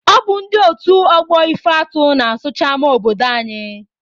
Ọ bụ ndị otu ọgbọ Ifeatụ na-asụcha ama obodo anyị.